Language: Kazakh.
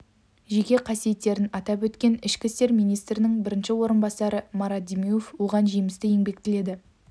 жеке қасиеттерін атап өткен ішкі істер министрінің бірінші орынбасары марат демеуов оған жемісті еңбек тіледі